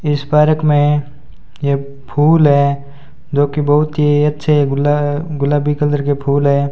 इस पार्क में ये फूल हैं जो कि बहुत ही अच्छे गुला गुलाबी कलर के फूल हैं।